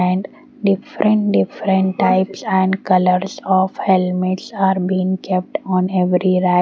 and different different types and colors of helmets are been kept on every rap.